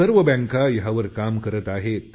सर्व बँका यावर काम करत आहेत